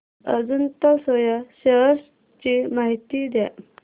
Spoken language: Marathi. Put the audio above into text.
अजंता सोया शेअर्स ची माहिती द्या